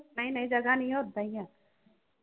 ਨਹੀਂ-ਨਹੀਂ ਜਗਾ ਨਹੀਂ ਆ ਓਦਾਂ ਈ ਆ।